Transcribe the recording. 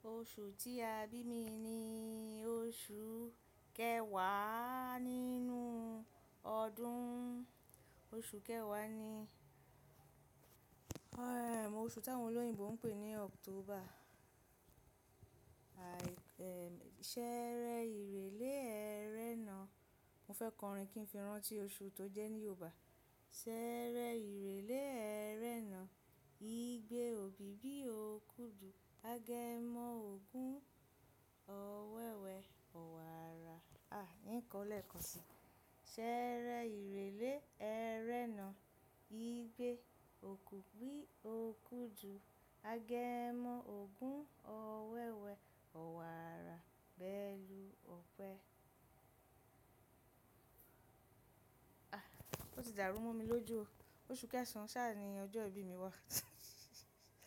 Oṣù tí a bí mi ni oṣù kẹwàá nínú ọdún. Oṣù kẹwàá ni oṣù t'áwọn olóyìnbo ń pè ní October. Ṣẹẹrẹ ìrèlè ẹrẹ́nà. Mo fẹ́ kọrin kí n fi rántí oṣù tó jẹ́ ní Yorùbá. Ṣẹẹrẹ ìrèlè ẹrẹ́nà, igbe òbíbí òkú dù, agẹmọ́ ògún, ọ̀wẹ́wẹ́, ọ̀wààrà. Àh, hín kọ ọ́ lẹ́ẹ̀kan sí i. Ṣẹẹrẹ ìrèlè ẹrẹ́nà, igbe òkú bí òkú dù, agẹmọ́ ògún, ọ̀wẹ́wẹ́, ọ̀wààrà, bẹ́ẹ̀lu òpẹ. À, ó ti dàrú mọ́ mi lójú o. Oṣù kẹsàn-án sáà ni ọjọ́ ìbí mi wà.